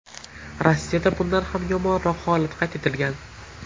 Rossiyada bundan ham yomonroq holat qayd etilgan.